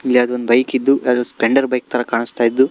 ಯಾವ್ದೋ ಒಂದ್ ಬೈಕ್ ಇದ್ದು ಯಾವ್ದೋ ಒಂದ್ ಸ್ಪೆಂಡರ್ ಬೈಕ್ ತರಾ ಕಾಣಸ್ತಾ ಇದ್ದು.